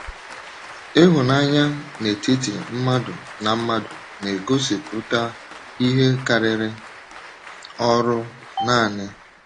Ihụnanya n'etiti mmadụ na mmadụ na-egosipụta ihe karịrị ọrụ nanị.